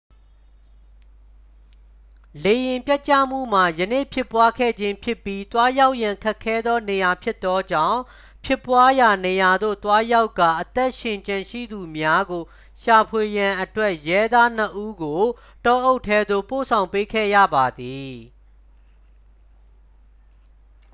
လေယာဉ်ပျက်ကျမှုမှာ ယနေ့ဖြစ်ပွားခဲ့ခြင်းဖြစ်ပြီး သွားရောက်ရန်ခက်ခဲသောနေရာဖြစ်သောကြောင့် ဖြစ်ပွားရာနေရာသို့သွားရောက်ကာ အသက်ရှင်ကျန်ရှိသူများကိုရှာဖွေရန်အတွက် ရဲသားနှစ်ဦးကို တောအုပ်ထဲသို့ ပို့ဆောင်ပေးခဲ့ရပါသည်